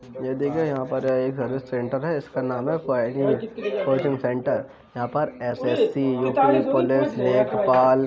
यह देखिये यहाँ पर एक सेंटर है इसका नाम है पायोनियर कोचिंग सेंटर यहाँ पर एसएससी युपी पुलिस लेखपाल --